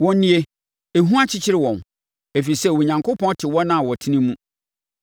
Wɔn nie, ehu akyekyere wɔn, ɛfiri sɛ Onyankopɔn te wɔn a wɔtene mu.